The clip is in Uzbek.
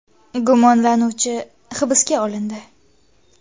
Gumonlanuvchi hibsga olindi.